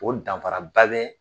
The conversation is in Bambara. O danfaraba bɛ